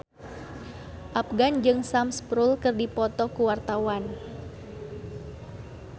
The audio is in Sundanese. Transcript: Afgan jeung Sam Spruell keur dipoto ku wartawan